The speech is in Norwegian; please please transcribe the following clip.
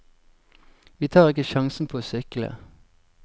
Vi tar ikke sjansen på å sykle.